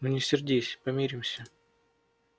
ну не сердись помиримся